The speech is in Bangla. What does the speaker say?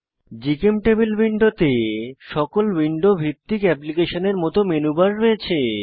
জিচেমটেবল উইন্ডোতে সকল উইন্ডো ভিত্তিক অ্যাপ্লিকেশনের মত মেনু বার রয়েছে